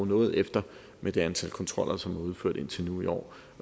noget efter med det antal kontroller som er udført indtil nu i år